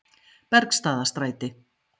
Bergstaðastræti